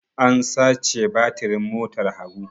An sace batirin motar Habu.